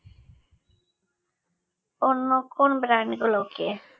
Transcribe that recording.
অন্য কোন brand গুলোকে